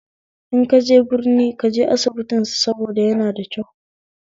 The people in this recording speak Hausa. In kaje birni kaje asibitin su saboda yanada kyau